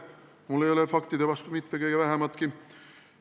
Mul ei ole faktide vastu mitte kõige vähimatki.